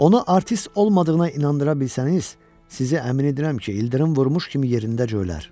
Onu artist olmadığına inandıra bilsəniz, sizi əmin edirəm ki, ildırım vurmuş kimi yerindən cöylər.